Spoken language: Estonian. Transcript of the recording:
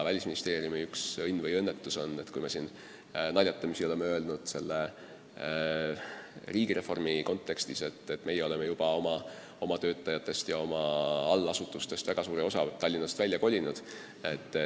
Välisministeeriumi õnn või õnnetus on see, nagu me oleme naljatamisi riigireformi kontekstis öelnud, et me oleme juba oma töötajatest ja allasutustest väga suure osa Tallinnast välja kolinud.